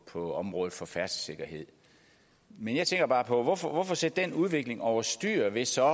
på området for færdselssikkerhed men jeg tænker bare på hvorfor hvorfor sætte den udvikling over styr ved så